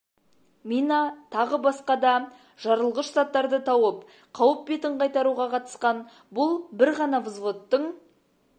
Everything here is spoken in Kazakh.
мина тағы басқа да жарылғыш заттарды тауып қауіп бетін қайтаруға қатысқан бұл бір ғана взводттың